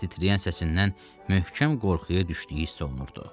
Titrəyən səsindən möhkəm qorxuya düşdüyü hiss olunurdu.